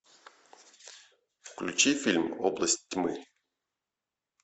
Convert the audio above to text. включи фильм область тьмы